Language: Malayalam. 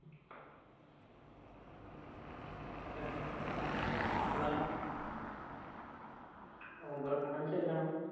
എപ് എപ്പളാ നോമ്പൊറക്ക്ന്നെന് ചെല്ലണം